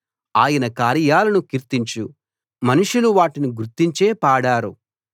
ఆయన కార్యాలను కీర్తించు మనుషులు వాటిని గురించే పాడారు